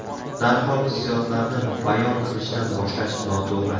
Darhol hissiyotlarni bayon qilishdan boshlash noto‘g‘ri.